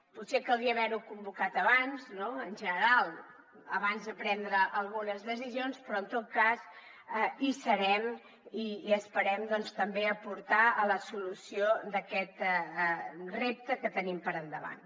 potser caldria haver ho convocat abans no en general abans de prendre algunes decisions però en tot cas hi serem i esperem també aportar a la solució d’aquest repte que tenim per davant